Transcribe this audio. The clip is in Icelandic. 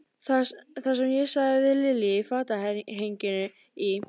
Það, sem ég sagði við Lilju í fatahenginu í